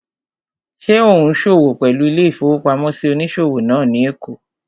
Ṣé ò ún ṣòwò pẹ̀lú ilé-ìfowópamọ́sí onísòwò náà ní èkó?